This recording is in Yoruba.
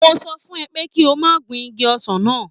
Mo sọ fún ẹ pé kí o má gun igi ọsàn náà